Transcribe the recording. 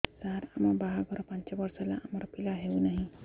ସାର ଆମ ବାହା ଘର ପାଞ୍ଚ ବର୍ଷ ହେଲା ଆମର ପିଲା ହେଉନାହିଁ